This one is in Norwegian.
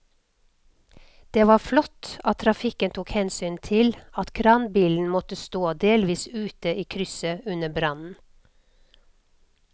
Det var flott at trafikken tok hensyn til at kranbilen måtte stå delvis ute i krysset under brannen.